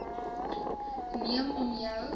neem om jou